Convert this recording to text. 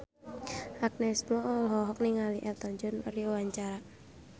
Agnes Mo olohok ningali Elton John keur diwawancara